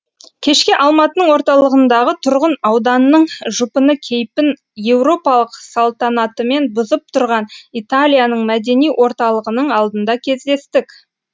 кешке алматының орталығындағы тұрғын ауданның жұпыны кейпін еуропалық салтанатымен бұзып тұрған италияның мәдени орталығының алдында кездестік